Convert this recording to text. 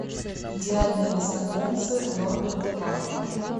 идеальные незнакомцы норберта вандера